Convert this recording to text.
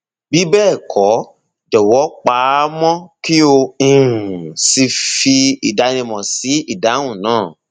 bí bẹẹ kọ jọwọ pa á mọ kí o um sì fi ìdánimọ sí ìdáhùn náà